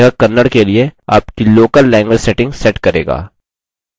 default रूप से यह kannada के लिए आपकी local language setting set करेगा